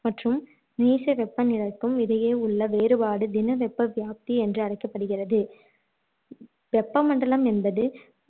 மற்றும் நீச்ச வெப்பநிலைக்கும் இடையேயுள்ள வேறுபாடு தின வெப்பவியாப்தி என்று அழைக்கப்படுகிறது வெப்பமண்டலம் என்பது